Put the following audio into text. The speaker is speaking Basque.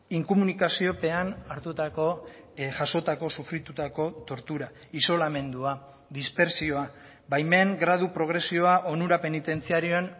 inkomunikaziopean hartutako jasotako sufritutako tortura isolamendua dispertsioa baimen gradu progresioa onura penitentziarioen